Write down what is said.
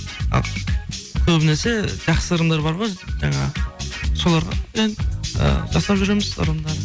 а көбінесе жақсы ырымдар бар ғой жаңағы соларды енді і жасап жүреміз ырымдарды